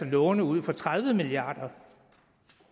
låne ud fra tredive milliard kr